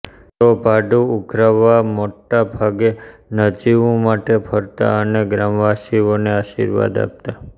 તેઓ ભાડૂં ઉઘરાવવામોટાભાગે નજીવું માટે ફરતા અને ગ્રામવાસીઓને આશીર્વાદ આપતા